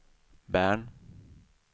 Bern